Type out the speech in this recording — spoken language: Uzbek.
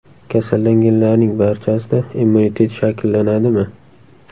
Kasallanganlarning barchasida immunitet shakllanadimi?